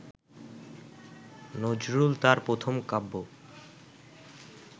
নজরুল তাঁর প্রথম কাব্য